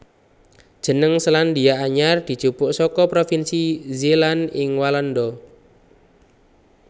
Jeneng Selandia Anyar dijupuk saka provinsi Zeeland ing Walanda